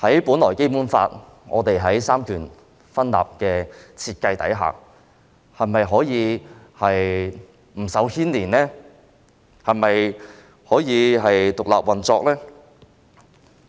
本來在《基本法》下有三權分立的設定，但法庭是否不受干預、獨立運作呢？